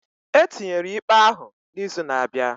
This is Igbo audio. Etinyere ikpe ahụ na izu na abịa